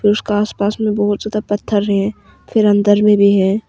उसका आस पास में बहुत ज्यादा पत्थर है फिर अंदर में भी है।